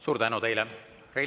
Suur tänu teile!